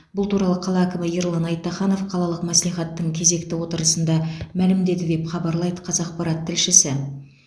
бұл туралы қала әкімі ерлан айтаханов қалалық мәслихаттың кезекті отырысында мәлімдеді деп хабарлайды қазақпарат тілшісі